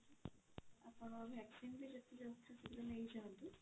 ଆପଣ vaccine ବି ଯଥା ଶୀଘ୍ର ନେଇ ଯାଆନ୍ତୁ